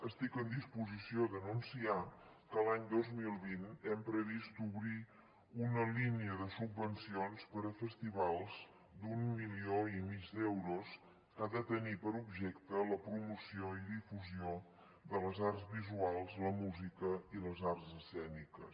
estic en disposició d’anunciar que l’any dos mil vint hem previst obrir una línia de subvencions per a festivals d’un milió i mig d’euros que ha de tenir per objecte la promoció i difusió de les arts visuals la música i les arts escèniques